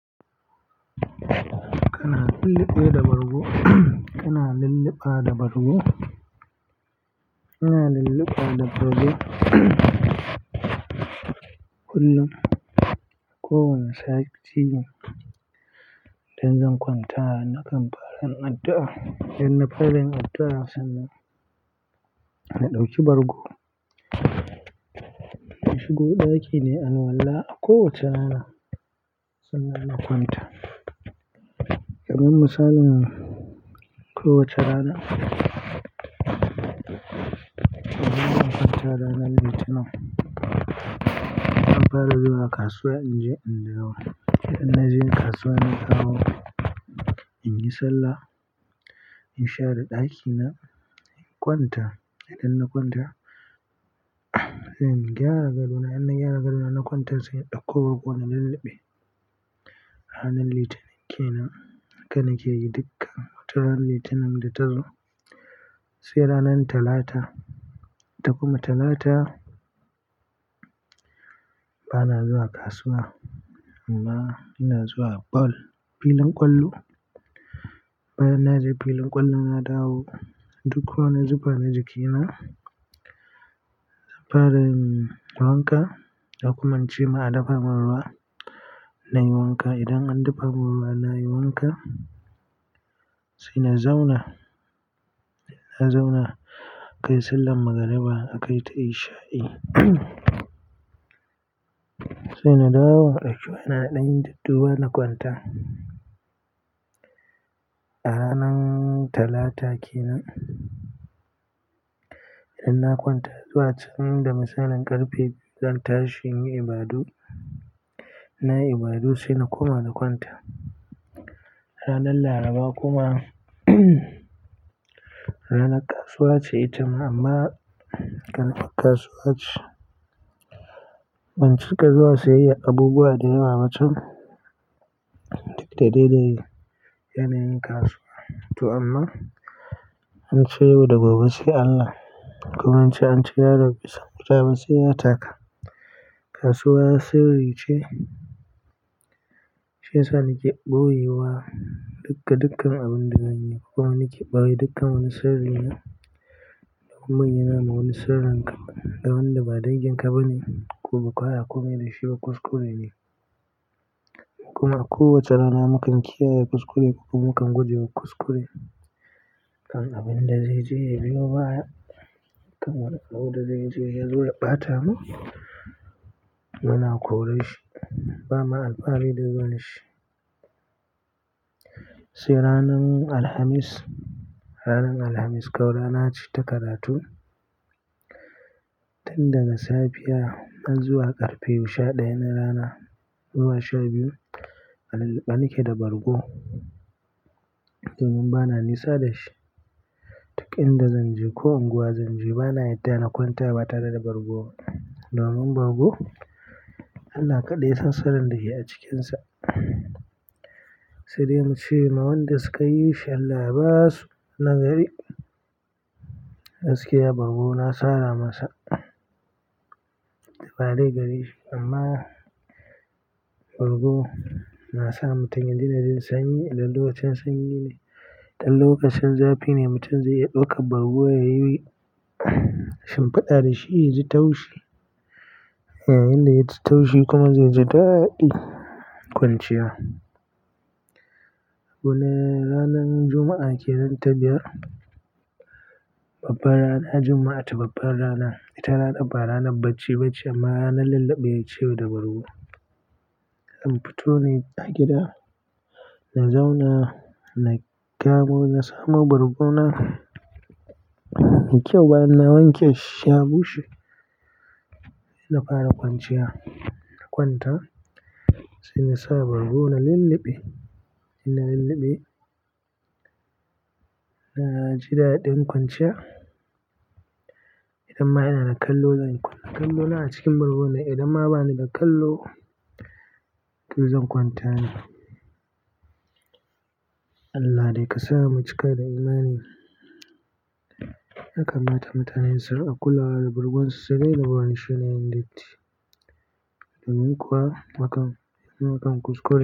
Kana lulluɓe da bargo. Kana lulluɓa da bargo. Ina lulluɓa da bargo kullum ko wane sati idan zan kwanta, nakan fara yin addu'a, idan na fara yin addu'a sannan na ɗauki bargo. Shigo ɗaki neayi alwala a kowace rana sannan na kwanta. Kaman misalin ko wace rana, idan zan kwanta ranar Litinin, zan fara zuwa kasuwa in je in dawo. Idan na je kasuwa na dawo, in yi sallah, in share ɗakina, in kwanta. Idan na kwanta, sai in gyara gadona. Idan na gyara gadona, na kwanta sai in ɗauko bargona na lulluɓe. Ranar Litinin kenan, haka na ke yi dukkan wata ranar Litinin da ta zo. Sai ranar Talata, ita kuma Talata bana zuwa kasuwa amma ina zuwa ball, filin ƙwallo. Bayan na je filin ƙwallo na dawo, duk wani zufa na jikina, zan fara yin wanka. Ko kuma in ce ma a dafa maruwa na yi wanka. Idan an dafa mun ruwa na yi wanka sai na zauna. Na zauna akayi sallar magariba aka yi ta isha'i sai na dawo na ɗauki waya na na ɗan dudduba na kwanta. A ranan Talata kenan, idan na kwanta zuwa can da misalin ƙarfe biyu zan tashi in yi ibadu. In nayi ibadu sai na koma na kwanta. Ranar Laraba kuma ranar kasuwa ce ita ma amma ƙaramar kasuwa ce. Bincika zuwa siyayyar abubuwa da yawa ba can duk da dai da yanayin kasuwa to an ce yau da gobe sai Allah kuma ance yaro bai san wuta ba sai ya taka. Kasuwa sirri ce shi ya sa na ke ɓoye wa dukabaju gada dukka abin da zan yi. Kuma ni ke ɓoye dukan wani sirri na. Domin ka bayyanawa ma wani sirrin ka da wanda ba dangin ka ba ne ko makaya komai dashi ba kuskure ne. Kuma a kowace rana mukan kiyaye kuskure kuma mukan guje wa kuskure. Kan abin da zai je ya biyo baya kamar abin da zai je yazo ya ɓata mu muna kore shi ba ma alfahari zuwan shi. Sai ranan Alhamis, ranan Alhamis kam rana ce ta karatu tun daga safiya har zuwa ƙarfe goma sha ɗaya na rana zuwa sha biyu. A lulluɓe na ke da bargo. Domin bana nisa da shi. Duk inda zan je ko unguwa zan je bana yadda na kwanta ba tare da bargo ba domin bargo Allah kaɗai ya san sirrin da ke a cikinsa. Sai dai mu ce ma wanda suka yi shi Allah ba su na gari. Gaskiya bargo na sara masa da badai gari amma bargo na sa mutum ya dena jin sanyi idan lokacin sanyi ne. Idan lokacin zafi ne mutum zai iya ɗauka bargo ya yi shinfada da shi ya ji taushi. Yayinda ya ji taushi kuma zai ji daɗi kwanciya. Wannan ranan Juma'a kenan ta biyar, babbar rana Juma'a ta babbar rana. Ita ranar ba ranar bacci bace amma ranar lulluɓe ce da bargo. Zan na fito ne a gida, na zauna na kamo na samo bargo na. Me kyau bana wanke shi, ya bushe. Na fara kwanciya na kwanta sai na sa bargo na lulluɓe. Ina lulluɓe na ji daɗin kwanciya idan ma ina da kallo zan kunna kallona a cikin bargo ne idan ma bani da kallo, to zan kwanta ne. Allah dai kasama mu cika da imani, ya kammata mutane su riƙa kulawa da bargonsu su dai na barin shi yana yin datti. Domin kuwa hakan kuskure ne.